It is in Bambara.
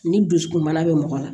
Ni dusukunbana bɛ mɔgɔ la